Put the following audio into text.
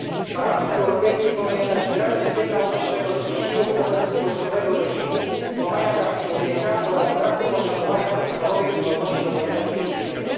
Parlament Europejski powinien dać wyraźny sygnał naszego sprzeciwu wobec wojskowego reżimu, łamania praw człowieka oraz braku poszanowania podstawowych wolności obywatelskich w Birmie.